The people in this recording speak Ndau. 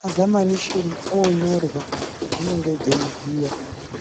mazamanisheni oonyorwa, dzinenge dzeiziya.